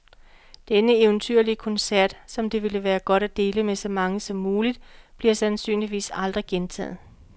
Denne eventyrlige koncert, som det ville være godt at dele med så mange som muligt, bliver sandsynligvis aldrig gentaget.